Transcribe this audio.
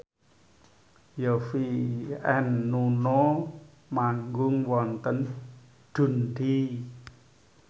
Yovie and Nuno manggung wonten Dundee